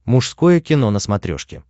мужское кино на смотрешке